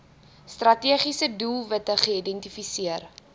strategiese doelwitte geïdentifiseer